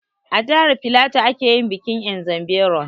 A jihar filatu ake yin bikin ''Nzem berom''